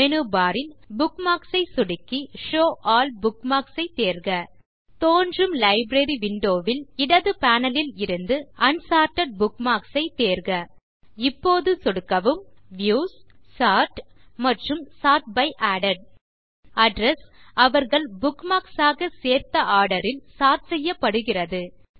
menu bar ல் bookmarks ஐ சொடுக்கி ஷோவ் ஆல் புக்மார்க்ஸ் ஐத் தேர்க தோன்றும் லைப்ரரி விண்டோ ல் இடது பேனல் ல் இருந்து அன்சார்ட்டட் புக்மார்க்ஸ் ஐத் தேர்க இப்போது சொடுக்கவும் வியூஸ் சோர்ட் மற்றும் சோர்ட் பை அடெட் அட்ரெஸ் அவர்கள் புக்மார்க்ஸ் ஆக சேர்த்த ஆர்டர் ல் சோர்ட் செய்யப்படுகிறது